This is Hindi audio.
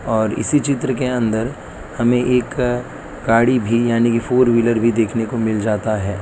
और इसी चित्र के अंदर हमें एक अ गाड़ी भी यानी की फोर व्हीलर भी देखने को मिल जाता है।